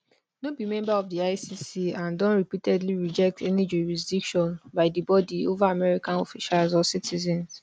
no be member of di icc and don repeatedly reject any jurisdiction by di body over american officials or citizens